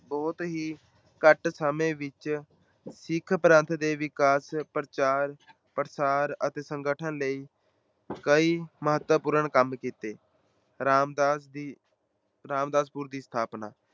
ਬਹੁਤ ਹੀ ਘੱਟ ਸਮੇ ਵਿੱਚ ਸਿੱਖ ਪੰਥ ਦੇ ਵਿਕਾਸ, ਪ੍ਰਚਾਰ, ਪ੍ਰਸਾਰ ਅਤੇ ਸੰਗਠਨ ਲਈ ਕਈ ਮਹੱਤਵਪੂਰਨ ਕੰਮ ਕੀਤੇ। ਰਾਮਦਾਸ ਦੀ ਰਾਮਦਾਸਪੁਰ ਦੀ ਸਥਾਪਨਾ।